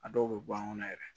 A dɔw bɛ bɔ an kɔnɔ yɛrɛ